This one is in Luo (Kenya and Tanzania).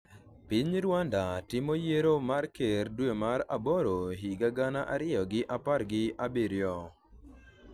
Piny Rwanda timo yiero mar ker dwe mar aboro higa gana ariyo gi apar gi abiriyo